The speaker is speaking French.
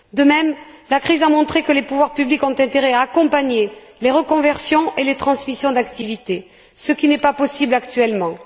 De même, la crise a montré que les pouvoirs publics ont intérêt à accompagner les reconversions et les transmissions d'activité, ce qui n'est pas possible actuellement.